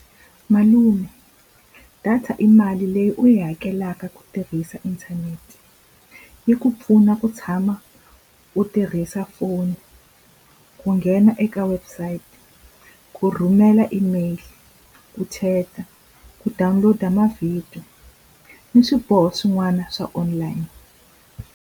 Malume data i mali leyi u yi hakelaka ku tirhisa inthanete. Yi ku pfuna ku tshama u tirhisa foni, ku nghena eka website, ku rhumela email, ku chat-a, ku download-a mavhidiyo ni swiboho swin'wana swa online.